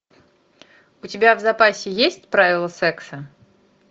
у тебя в запасе есть правила секса